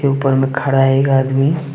ऊपर में खड़ा एक आदमी--